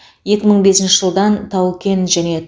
екі мың бесінші жылдан тау кен және